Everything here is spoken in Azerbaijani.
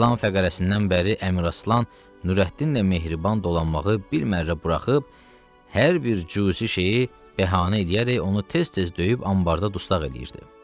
İlan fəqərəsindən bəri Əmraslan Nurəddinlə mehriban dolanmağı bir mərrə buraxıb hər bir cüzi şeyi bəhanə eləyərək onu tez-tez döyüb anbarda dustaq eləyirdi.